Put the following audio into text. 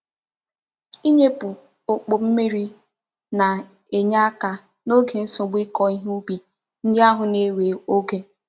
Inyepu okpo mmiri na-enye aka n'oge nsogbu Iko ihe ubi ndi ahu na-enwe oge.